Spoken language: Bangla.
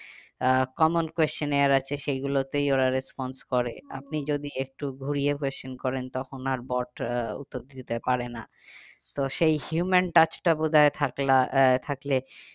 আহ common question এর আছে সেগুলোতেই ওরা response করে। আপনি যদি একটু ঘুরিয়ে question করেন তখন আর bot আহ উত্তর দিতে পারে না। তো সেই human touch টা বোধ হয় আহ থাকলে